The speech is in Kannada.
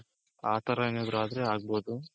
ಆ ತರ ಏನಾದ್ರೂ ಆದ್ರೆ ಆಗ್ಬೋದು.